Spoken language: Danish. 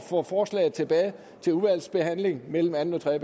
få forslaget tilbage til udvalgsbehandling mellem anden og tredje